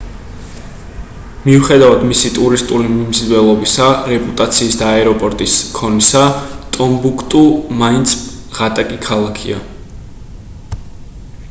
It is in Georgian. მიუხედავად მისი ტურისტული მიმზიდველობისა რეპუტაციის და აეროპორტის ქონისა ტომბუქტუ მაინც ღატაკი ქალაქია